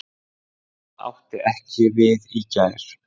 Það átti ekki við í gær.